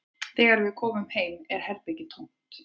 Þegar við komum heim er herbergið tómt